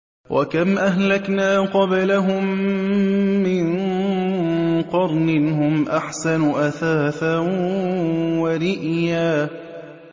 وَكَمْ أَهْلَكْنَا قَبْلَهُم مِّن قَرْنٍ هُمْ أَحْسَنُ أَثَاثًا وَرِئْيًا